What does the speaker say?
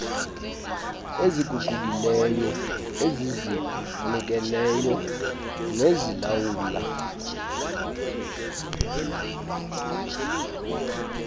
eziguqukileyo ezizinikeleyo nezilawulwa